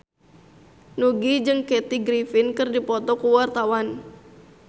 Nugie jeung Kathy Griffin keur dipoto ku wartawan